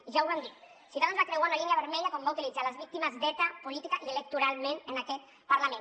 i ja ho van dir ciutadans va creuar una línia vermella quan va utilitzar les víctimes d’eta políticament i electoralment en aquest parlament